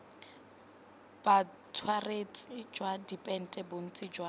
botsweretshi jwa dipente bontsi jwa